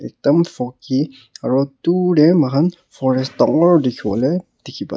dam foggy aro dur te mokhan forest dangor dikhiwole dikhi pa ase.